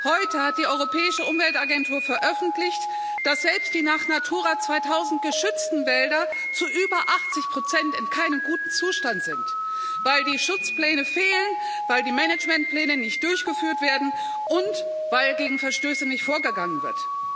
Heute hat die Europäische Umweltagentur veröffentlicht, dass selbst die nach Natura 2000 geschützten Wälder zu über 80 in keinem guten Zustand sind, weil die Schutzpläne fehlen, weil die Managementpläne nicht durchgeführt werden und weil gegen Verstöße nicht vorgegangen wird.